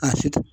A fiti